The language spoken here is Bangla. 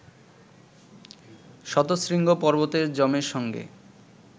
শতশৃঙ্গ পর্বতে যমের সঙ্গে